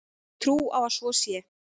Ég hef trú á að svo sé.